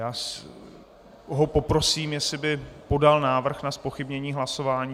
Já ho poprosím, jestli by podal návrh na zpochybnění hlasování?